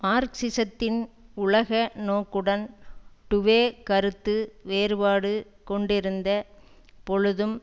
மார்க்சிசத்தின் உலக நோக்குடன் டுவே கருத்து வேறுபாடு கொண்டிருந்த பொழுதும்